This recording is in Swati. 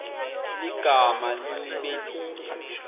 ligama libe linye